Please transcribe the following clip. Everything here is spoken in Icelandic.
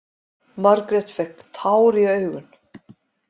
Margrét fékk tár í augun.